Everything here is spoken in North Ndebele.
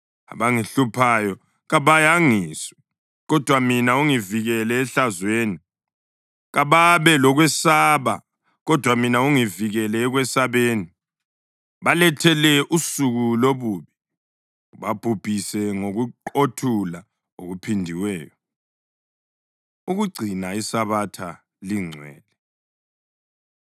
Abangihluphayo kabayangiswe, kodwa mina ungivikele ehlazweni; kababe lokwesaba, kodwa mina ungivikele ekwesabeni. Balethele usuku lobubi. Ubabhubhise ngokuqothula okuphindiweyo. Ukugcina ISabatha Lingcwele